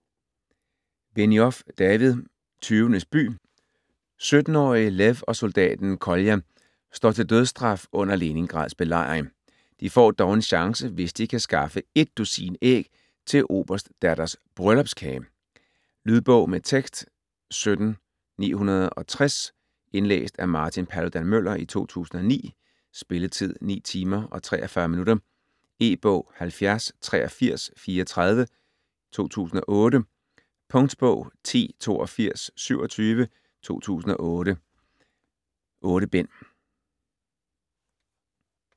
Benioff, David: Tyvenes by 17-årige Lev og soldaten Kolja står til dødsstraf under Leningrads belejring. De får dog en chance, hvis de kan skaffe et dusin æg til en oberstdatters bryllupskage. Lydbog med tekst 17960 Indlæst af Martin Paludan-Müller, 2009. Spilletid: 9 timer, 43 minutter. E-bog 708334 2008. Punktbog 108227 2008. 8 bind.